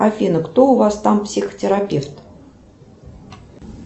афина кто у вас там психотерапевт